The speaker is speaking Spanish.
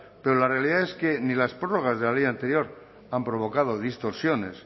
pero la realidad es que ni las prórrogas de la ley anterior han provocado distorsiones